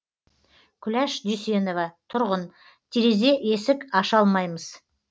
күләш дүйсенова тұрғын терезе есік аша алмаймыз